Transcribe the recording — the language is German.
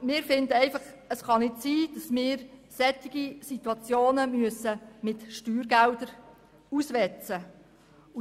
Wir finden, es könne einfach nicht sein, solche Situationen mit Steuergeldern auswetzen zu müssen.